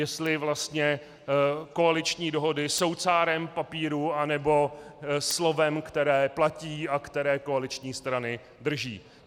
Jestli vlastně koaliční dohody jsou cárem papíru, anebo slovem, které platí a které koaliční strany drží.